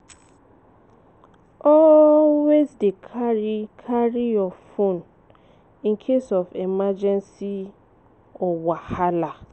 Always dey carry your phone in case of emergency or wahala.